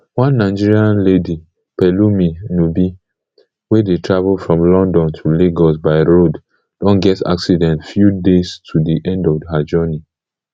one nigerian lady pelumi nubi wey dey travel from london to lagos by road don get accident few days to di end of her journey